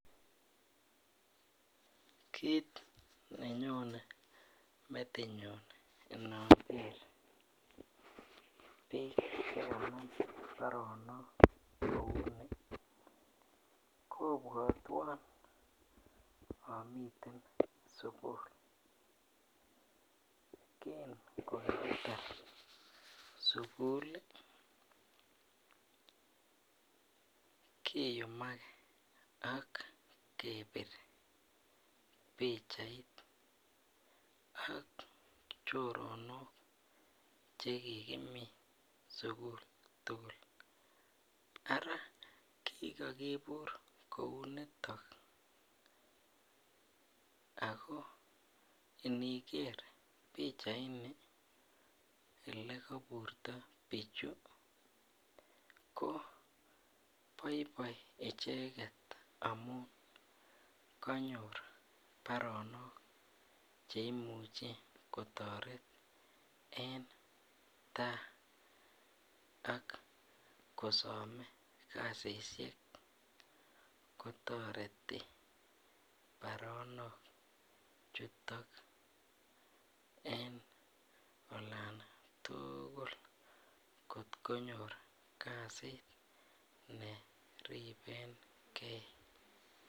Kiit nenyonee metinyun enookeer biik chekanam baronok kouunii kopwatwan amiten sukul kiingetarr sukul keyumakee ak kepiir pichait ak choronok chekikimii sukul tukul araa kikakipurr kouunitok akoo inikerr pichait nii ele kaburrto piichu Kopaipai icheket ak kosomeekasishek kotoretii paronok chutok koripekeii